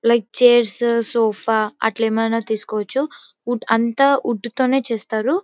అలాగే chairs sofa అట్లా ఏమైనా తీస్కోవచ్చు. వుడ్ అంతా వుడ్ తోనే చేస్తారు.